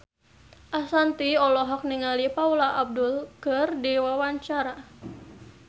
Ashanti olohok ningali Paula Abdul keur diwawancara